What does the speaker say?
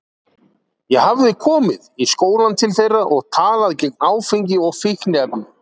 Ég hafði komið í skólann til þeirra og talað gegn áfengi og fíkniefnum.